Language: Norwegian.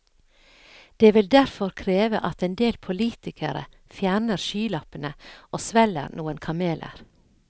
Det vil derfor kreve at en del politikere fjerner skylappene og svelger noen kameler.